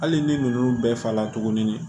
Hali ni ninnu bɛɛ fala tuguni